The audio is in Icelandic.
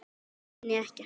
Kynni ekkert.